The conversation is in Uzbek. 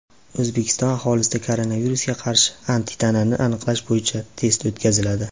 O‘zbekiston aholisida koronavirusga qarshi antitanani aniqlash bo‘yicha test o‘tkaziladi.